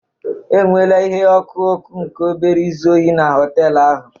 Enweela ihe ọkụ ọkụ nke obere izu ohi na họtel ahụ